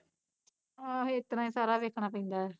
ਆਹੋ ਏਸਤਰਾਂ ਈ ਐ ਸਾਰਾ ਦੇਖਣਾ ਪੈਂਦਾ ਐ